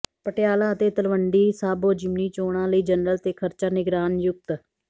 ਪਟਿਆਲਾ ਅਤੇ ਤਲਵੰਡੀ ਸਾਬੋ ਜ਼ਿਮਨੀ ਚੋਣਾਂ ਲਈ ਜਨਰਲ ਤੇ ਖ਼ਰਚਾ ਨਿਗਰਾਨ ਨਿਯੁਕਤ